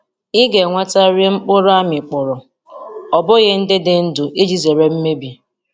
I ga-ewetarịrị mkpụrụ a mịkpọrọ o bụghị ndị dị ndụ iji zere mmebi.